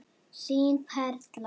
Þín Perla.